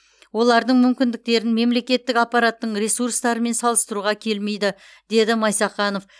олардың мүмкіндіктерін мемлекеттік аппараттың ресурстарымен салыстыруға келмейді деді майсақанов